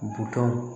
Butɔn